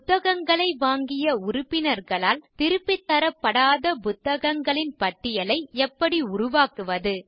புத்தகங்களை வாங்கிய உறுப்பினர்களால் திருப்பித் தரப்படாத புத்தகங்களின் பட்டியலை எப்படி உருவாக்குவது